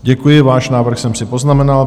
Děkuji, váš návrh jsem si poznamenal.